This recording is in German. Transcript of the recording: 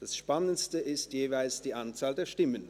Das Spannendste ist heute jeweils die Anzahl der Stimmen.